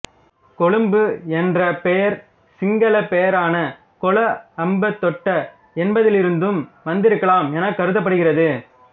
கொழும்பு என்ற பெயர் சிங்கள பெயரான கொளஅம்பதொட்ட என்பதிலிலுருந்தும் வந்திருக்கலாம் எனக் கருதப்படுகிறது